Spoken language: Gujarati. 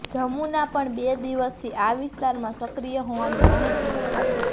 જમુના પણ બે દિવસથી આ વિસ્તારમાં સક્રિય હોવાની માહિતી હતી